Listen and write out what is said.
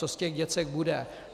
Co z těch děcek bude?